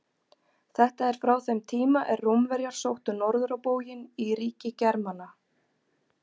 Þetta er frá þeim tíma er Rómverjar sóttu norður á bóginn í ríki Germana.